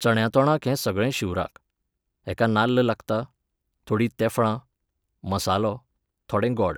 चण्यां तोणाक हें सगळें शिवराक. हेका नाल्ल लागता, थोडीं तेफळां, मसालो, थोडें गॉड